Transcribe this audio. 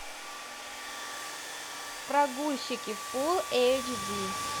прогульщики фулл эйч ди